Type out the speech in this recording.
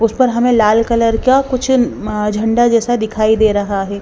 उस पर हमें लाल कलर का कुछ झंडा जैसा दिखाई दे रहा है।